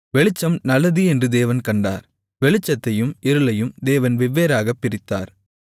வெளிச்சம் நல்லது என்று தேவன் கண்டார் வெளிச்சத்தையும் இருளையும் தேவன் வெவ்வேறாகப் பிரித்தார்